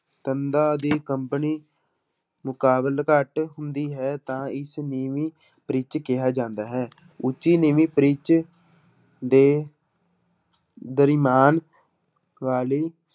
ਤੰਦਾਂ ਦੀ ਕੰਬਣੀ ਮੁਕਾਬਲੇ ਘੱਟ ਹੁੰਦੀ ਹੈ ਤਾਂ ਇਸ ਨੀਵੀਂ ਪਿੱਚ ਕਿਹਾ ਜਾਂਦਾ ਹੈ ਉੱਚੀ ਨੀਵੀਂ ਪਿੱਚ ਦੇ ਦਰਮਿਆਨ ਕਾਹਲੀ